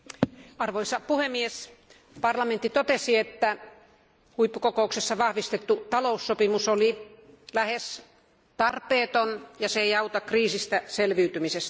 Arvoisa puhemies, parlamentti totesi, että huippukokouksessa vahvistettu taloussopimus oli lähes tarpeeton ja se ei auta kriisistä selviytymisessä.